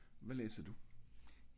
hvad læser du?